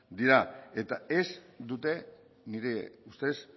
dira eta ez dute nire ustez